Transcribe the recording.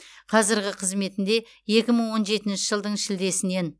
қазіргі қызметінде екі мың он жетінші жылдың шілдесінен